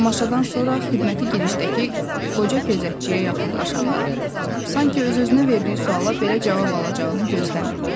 Tamaşadan sonra xidməti girişdəki qoca gözətçiyə yaxınlaşanda, sanki öz-özünə verdiyi suala belə cavab alacağını gözləmirdi.